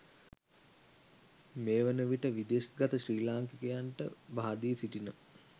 මේවන විට විදෙස් ගත ශ්‍රී ලාංකිකයකුට බහදී සිටින